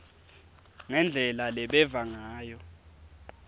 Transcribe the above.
ngendlela lebeva ngayo